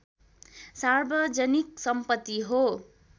सार्वजनिक सम्पति हो